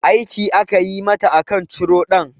Aiki aka yi mata aka ciro ɗan